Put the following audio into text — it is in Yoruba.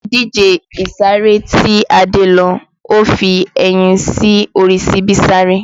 Ní ìdíje ìsáré tí Adé lọ, ó fi ẹyin sí orí síbi sáré